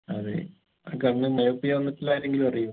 അതെ ഏർ കണ്ണ് myopia വന്നിട്ടുള്ള ആരെങ്കിലും അറിയോ